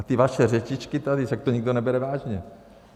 A ty vaše řečičky tady, však to nikdo nebere vážně.